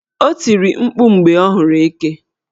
O tiri mkpu mgbe ọ hụrụ eke.